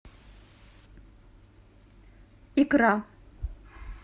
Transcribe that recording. икра